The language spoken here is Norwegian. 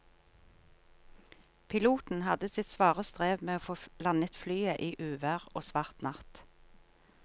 Piloten hadde sitt svare strev med å få landet flyet i uvær og svart natt.